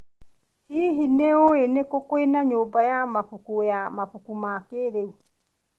Hihi, nĩ ũĩ nĩ kũ kwĩna nyũmba ya mabuku ya mabuku ma kĩrĩu?